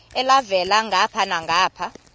elhavela ngapha nangapha